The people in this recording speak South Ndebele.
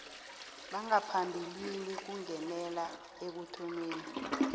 bangaphambilini kungenelela ekuthomeni